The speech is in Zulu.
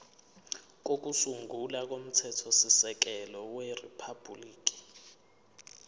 kokusungula komthethosisekelo weriphabhuliki